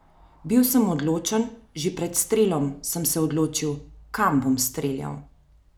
Bil sem odločen, že pred strelom sem se odločil, kam bom streljal.